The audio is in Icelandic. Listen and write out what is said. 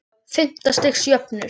Fimmta stigs jöfnur.